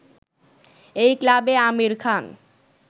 এই ক্লাবে আমির খান